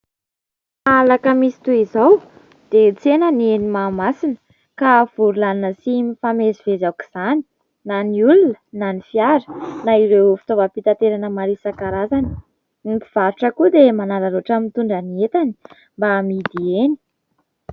Rehefa Alakamisy toy izao dia tsena ny eny Mahamasina, ka vory lanina sy mifamezivezy aok'izany na ny olona na ny fiara na ireo fitaovam-pitaterana maro isan-karazany. Ny mpivarotra koa dia manararaotra mitondra ny entany mba amidy eny.